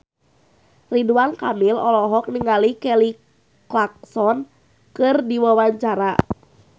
Ridwan Kamil olohok ningali Kelly Clarkson keur diwawancara